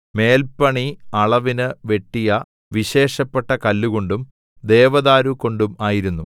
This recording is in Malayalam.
മേൽപണി അളവിന് വെട്ടിയ വിശേഷപ്പെട്ട കല്ലുകൊണ്ടും ദേവദാരുകൊണ്ടും ആയിരുന്നു